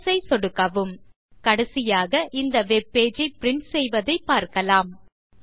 Closeஐ சொடுக்கவும் கடைசியாக இந்த வெப் பேஜ் ஐ பிரின்ட் செய்வதைப் பார்க்கலாம்